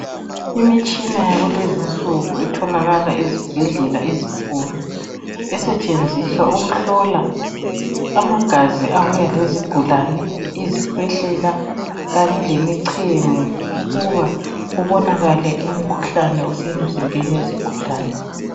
Imitshina yakulezinsuku etholakala ezibhedlela ezinkulu esetshenziswa ukuhlola amagazi abuya lezigulane, izikhwehlela kanye lemichemo ukuba kubonakale umkhuhlane osemzimbeni wesigulane.